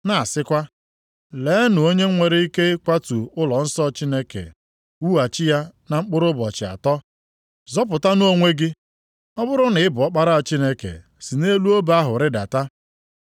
na-asịkwa, “Leenụ onye nwere ike ịkwatu ụlọnsọ Chineke wughachi ya na mkpụrụ ụbọchị atọ! Zọpụtanụ onwe gị! Ọ bụrụ na ị bụ Ọkpara Chineke si nʼelu obe ahụ rịdata!”